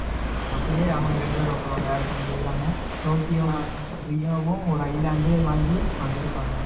அப்படியே அவங்க ரெண்டு பேரும் அப்பறம் வேற பக்கம் போயிருவாங்க.டோக்கியோ, ரியோவும் ஒரு island வாங்கி அங்க இருப்பாங்க.